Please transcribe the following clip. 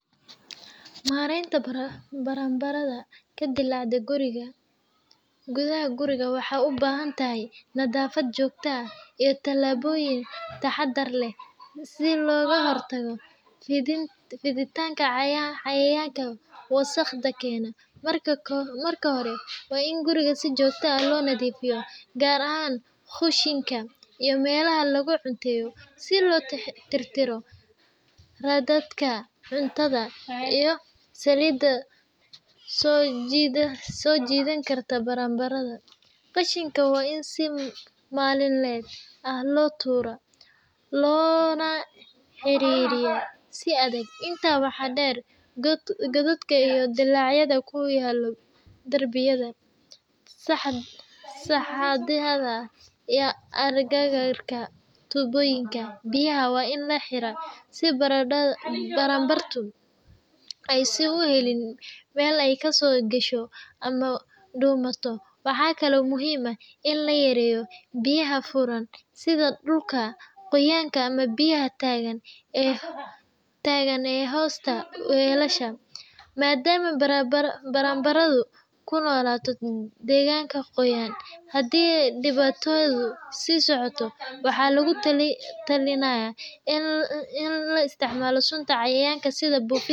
Maareynta baranbarada ka dilaacda gudaha guriga waxay u baahan tahay nadaafad joogto ah iyo tallaabooyin taxaddar leh si looga hortago fiditaanka cayayaankan wasakhda keena. Marka hore, waa in guriga si joogto ah loo nadiifiyaa, gaar ahaan kushiinka iyo meelaha lagu cunteeyo, si loo tirtiro raadadka cuntada iyo saliidda soo jiidan karta baranbarada. Qashinka waa in si maalinle ah loo tuuraa, loona xirxiraa si adag. Intaa waxaa dheer, godadka iyo dillaacyada ku yaal darbiyada, sagxadaha, iyo agagaarka tuubooyinka biyaha waa in la xiraa, si baranbaradu aysan u helin meel ay ka soo gasho ama ku dhuumato. Waxaa kale oo muhiim ah in la yareeyo biyaha furan, sida dhulka qoyan ama biyo taagan ee hoosta weelasha, maadaama baranbaradu ku noolaato deegaan qoyan. Haddii dhibaatadu sii socoto, waxaa lagu talinayaa in la isticmaalo sunta cayayaanka sida buufinta.